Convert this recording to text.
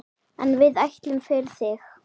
En við ætlum, fyrir þig.